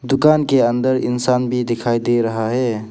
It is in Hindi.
दुकान के अंदर इंसान भी दिखाई दे रहा है।